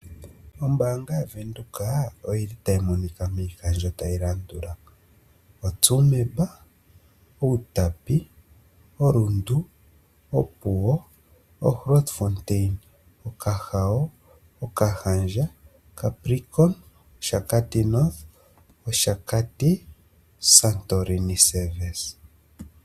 Ombaanga yaVenduka oyili tayi monika miikandjo tayi landula, Otsumeb, Outapi, oRundu, Opuwo, Grootfontein, Okahao, Okahandja, Capricorn, Oshakati-North, Oshakati Santorini Service.